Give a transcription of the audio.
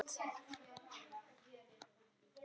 Hér er barist.